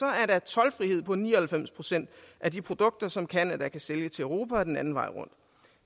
er der toldfrihed på ni og halvfems procent af de produkter som canada kan sælge til europa og den anden vej rundt